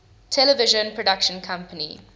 television production company